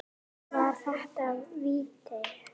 Var þetta víti?